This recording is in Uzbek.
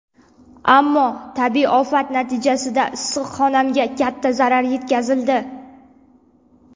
Ammo tabiiy ofat natijasida issiqxonamga katta zarar yetkazildi.